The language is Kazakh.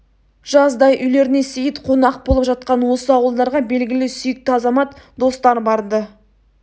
жаздай үйлеріне сейіт қонақ болып жатқан осы ауылдарға белгілі сүйікті азамат достар бар-ды